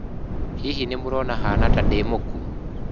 "Hihi nĩ mũrona haana ta ndĩ mũkuũ?"